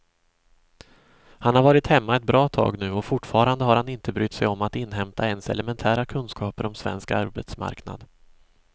Han har varit hemma ett bra tag nu och fortfarande har han inte brytt sig om att inhämta ens elementära kunskaper om svensk arbetsmarknad.